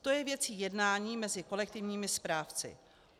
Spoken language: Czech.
To je věcí jednání mezi kolektivními správci.